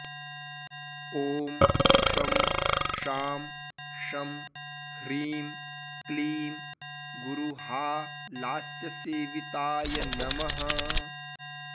ॐ शं शां षं ह्रीं क्लीं गुरुहालास्यसेविताय नमः